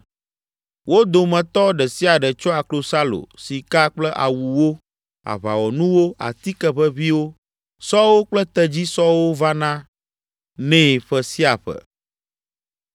Wo dometɔ ɖe sia ɖe tsɔa klosalo, sika kple awuwo, aʋawɔnuwo, atike ʋeʋĩwo, sɔwo kple tedzisɔwo vana nɛ ƒe sia ƒe.